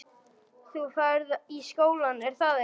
Þú ferð í skólann, er að ekki?